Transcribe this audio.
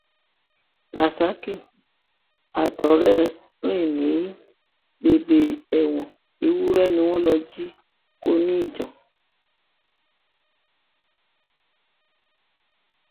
rasaki àtọrẹ ẹ ń rìn ní bèbè ẹwọn ewúrẹ ni wọn lọọ jí kó ní ijan